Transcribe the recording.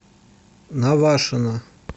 навашино